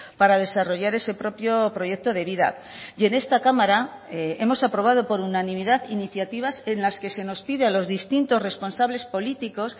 para desarrollar ese propio proyecto de vida y en esta cámara hemos aprobado por unanimidad iniciativas en las que se nos pide a los distintos responsables políticos